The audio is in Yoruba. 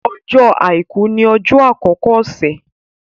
Ọjọ́ Àìkú ni ọjọ́ àkọ́kọ́ ọ̀sẹ̀.